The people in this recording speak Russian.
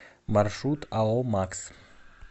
маршрут ао макс